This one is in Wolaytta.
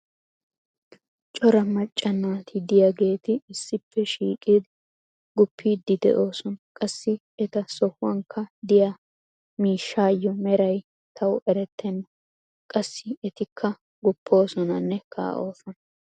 cora macca naati diyaageeti issippe shiiqidi gupiidi doosona. qassi eta sohuwankka diya miishshaayo meray tawu eretenna. qassi etikka guppoososnanne kaa'oosona..